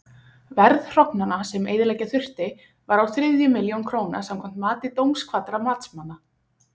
Verð hrognanna, sem eyðileggja þurfti, var á þriðju milljón króna samkvæmt mati dómkvaddra matsmanna.